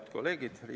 Head kolleegid!